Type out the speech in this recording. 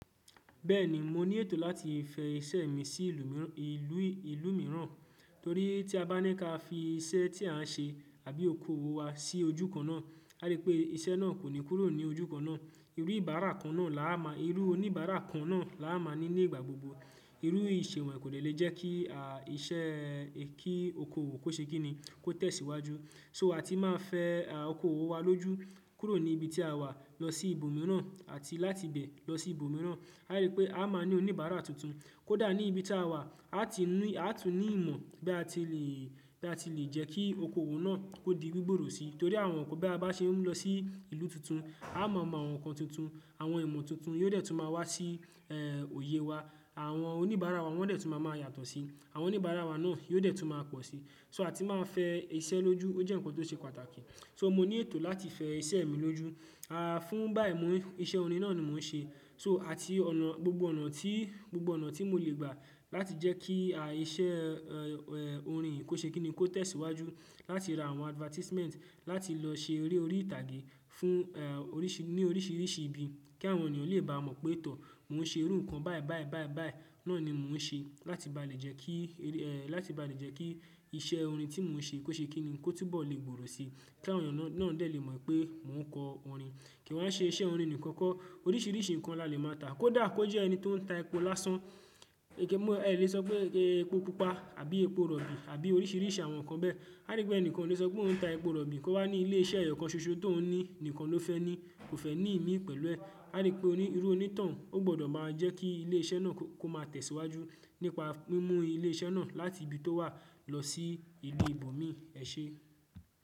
Bẹ́ẹ̀ni, mo ní ètò láti fẹ̀ iṣẹ́ mi sí ìlú mìíràn, torí tí a bá ní ká fi iṣẹ́ tí à ń ṣe àbí okoòwò wa sí ojú kan náà, á rí pé iṣẹ́ náà kò ní kúrò ní ojú kan náà. Irú oníbàárà kan náà la máa ní ní ìgbà gbogbo. Irú ìṣẹ̀wọ̀n kò lè lè jẹ́ kí iṣẹ́ kí okoòwò kó ṣe kí ni kó tẹ̀síwájú. So a ti máa fẹ̀ okoòwò wa lójú kúrò ní ibi tí a wà lọ sí ibòmíràn àti láti ibẹ̀ lọ sí ibòmíràn. A rí pé a máa ní oníbàárà tuntun. Kódà ní ibi tí a wà, a tún ní ìmọ̀ bí a ti lè jẹ́ kí okoòwò náà ó di gbígbòòrò sí, torí àwọn nǹkan bí a bá ṣe ń lọ sí ìlú tuntun, a máa mọ àwọn nǹkan tuntun, àwọn ìmọ̀ tuntun yóò dẹ̀ tún máa wá sí òye wa. Àwọn oníbàárà wa wọ́n dẹ̀ tún máa yàtọ̀ sí i. Àwọn oníbàárà wa náà yóò dẹ̀ tún máa pọ̀ sí. To a ti máa fẹ̀ iṣẹ́ lójú, ó jẹ́ nǹkan tó ṣe pàtàkì. So mo ní ètò láti fẹ̀ iṣẹ́ mi lójú. Fún báyìí mú iṣẹ́ orin náà ni mò ń ṣe. So àti ọ̀nà gbogbo ọ̀nà tí gbogbo ọ̀nà tí mo lè gbà láti jẹ́ kí iṣẹ́ orin kó ṣe kí ni kó tẹ̀síwájú, láti ra àwọn advertisement, láti lọ ṣe eré orí ìtàgé fún ẹ ní oríṣìíríṣìí ibi kí àwọn ènìyàn lè bá mọ̀ pé tọ̀, mò ń ṣe irú nǹkan báyìí báyìí báyìí báyìí náà ni mò ń ṣe láti bá lè jẹ́ kí láti bá lè jẹ́ kí iṣẹ́ orin tí mò ń ṣe kó ṣe kí ni kó túbọ̀ lè gbòòrò sí, kí àwọn ènìyàn náà lè mọ̀ pé mò ń kọ orin. Kí wan ṣe iṣẹ́ orin nìkan kọ́. Oríṣiríṣi nǹkan la lè máa tà. Kódà kó jẹ́ ẹni tó ń ta epo lásán, ẹ lè sọ pé epo pupa àbí epo rọ̀bì àbí oríṣìíríṣìí àwọn nǹkan bẹ́ẹ̀. A rí pé ẹnìkan ó lè sọ pé òun ń ta epo rọ̀bì, kó wá ní ilé iṣẹ́ ẹyọ kan ṣoṣo tó n ní nǹkan ló fẹ́ ní, kò fẹ́ ní imí pẹ̀lú ẹ̀. A rí pé irú onítàn ó gbọdọ̀ máa jẹ́ kí ilé iṣẹ́ náà kó kó máa tẹ̀síwájú nípa mímú ilé iṣẹ́ náà láti ibi tó wà lọ sí ìlú ibòmíì ẹ̀ ṣe.